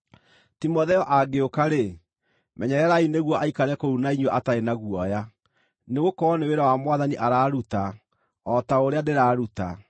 Timotheo angĩũka-rĩ, menyererai nĩguo aikare kũu na inyuĩ atarĩ na guoya, nĩgũkorwo nĩ wĩra wa Mwathani araruta, o ta ũrĩa ndĩraruta.